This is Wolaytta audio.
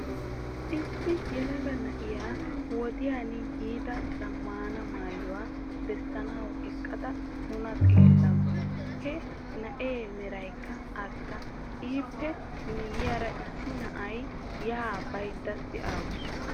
Issi yelaga na'iyaa wodiyaan yiida zammaana maayuwaa bessanawu eqqada nuna xeellawus. He na'ee meraykka arssa. Ippe miyiyaara issi na'iyaa yaa baydda de'awus.